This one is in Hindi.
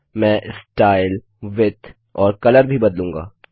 मैं स्टाइल विड्थ और कलर भी बदलूँगा